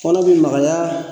Kɔnɔ bi magaya